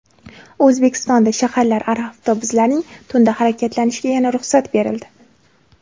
O‘zbekistonda shaharlararo avtobuslarning tunda harakatlanishiga yana ruxsat berildi.